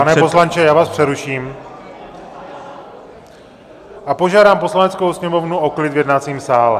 Pane poslanče, já vás přeruším a požádám Poslaneckou sněmovnu o klid v jednacím sále.